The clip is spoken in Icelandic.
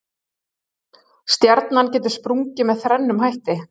Stjarna getur sprungið með þrennum hætti.